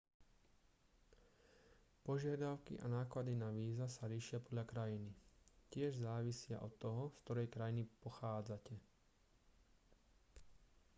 požiadavky a náklady na víza sa líšia podľa krajiny tiež závisia od toho z ktorej krajiny pochádzate